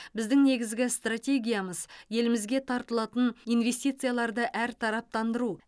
біздің негізгі стратегиямыз елімізге тартылатын инвестицияларды әртараптандыру